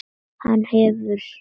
Hann hefur.